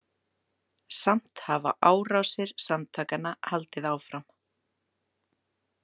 Samt hafa árásir samtakanna haldið áfram.